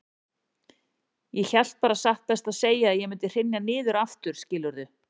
Ég hélt bara satt best að segja að ég mundi hrynja niður aftur, skilurðu.